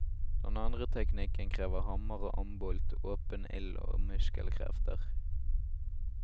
Den andre teknikken krever hammer og ambolt, åpen ild og muskelkrefter.